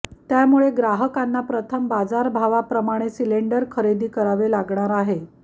त्यामुळे ग्राहकांना प्रथम बाजारभावाप्रमाणे सिलेंडर खरेदी करावे लागणार आहे